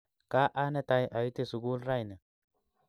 Ka anetai aite sugul raini.